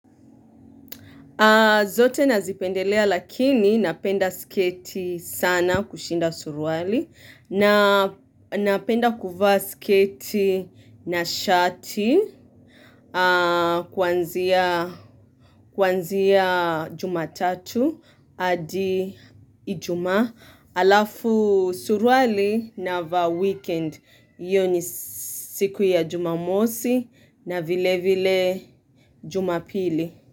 Zote nazipendelea lakini napenda sketi sana kushinda surual na Napenda kuvaa sketi na shati aah kwanzia jumatatu adi ijuma alafu suruali navaa wikend. Iyo ni siku ya jumamosi na vile vile jumapili.